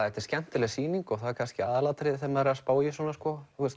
þetta er skemmtileg sýning og það er kannski aðalatriðið þegar maður er að spá í svona